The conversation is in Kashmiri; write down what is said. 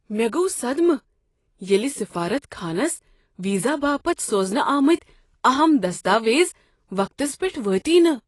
مےٚ گوٚو صدمہٕ ییٚلہ سفارت خانس ویزا باپتھ سوزنہٕ آمٕتۍ اہم دستاویز وقتس پیٹھ وٲتی نہٕ۔